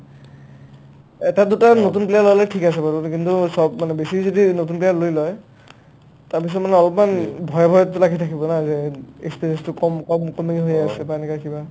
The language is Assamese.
এটা-দুটা নতুন player হ'লে থিক আছে বাৰু কিন্তু চব মানে বেছি যদি নতুন player লৈ লই তাৰপিছত মানে অলপমান ভয় ভয়টো লাগি থাকিব না যেন experience টো কম কম কমে হৈ আছে বা এনেকা কিবা